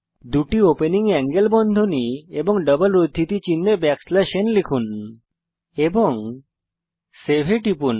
দুটি opening angle বন্ধনী লিখুন এবং ডবল উদ্ধৃতি চিনহে লিখুন n এবং সেভ এ টিপুন